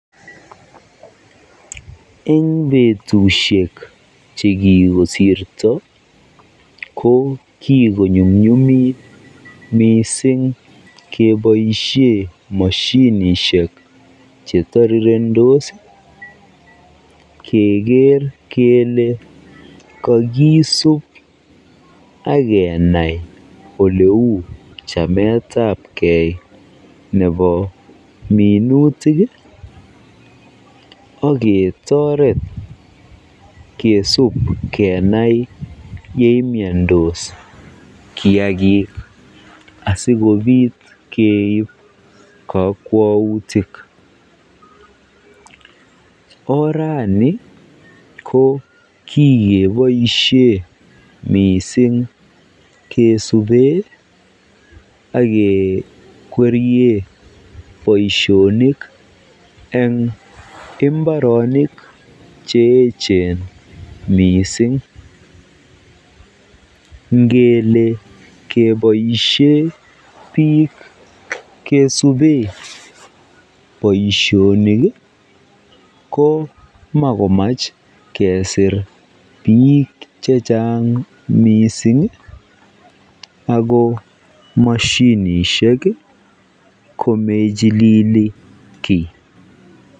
Eng betushek chekikosirto ko kikonyumnyumit mising keboishen moshinishek chetirirendos keker kelee kokisub ak kenai oleuu chametabke nebo minutik ak ketoret kesub kenai yemiondos kiakik asikobit keib kokwoutik, orani ko kikeboishe mising kesube ak kekwerie boishonik eng imbaronik che echen mising, ngele keboishe biik kesube boishonik ko makomach kesir biik chechang mising ak ko moshinishek komochilili kii.